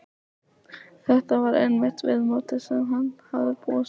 Þetta var einmitt viðmótið sem hann hafði búist við.